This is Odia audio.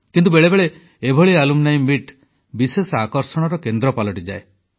କିନ୍ତୁ ବେଳେବେଳେ ଏଭଳି ଆଲୁମ୍ନି ମିଟ୍ ବିଶେଷ ଆକର୍ଷଣର କେନ୍ଦ୍ର ପାଲଟିଯାଏ